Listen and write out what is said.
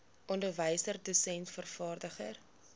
onderwyser dosent vervaardiger